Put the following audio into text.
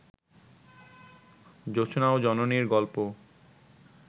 জোছনা ও জননীর গল্প